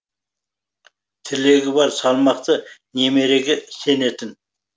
тілегі бар салмақты немереге сенетін